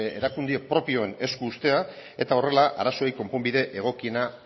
erakunde propioen esku uztea eta horrela arazoei konponbide egokiena